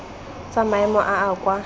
tsa maemo a a kwa